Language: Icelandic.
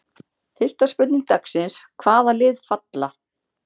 Fyrsta spurning dagsins: Hvaða lið falla?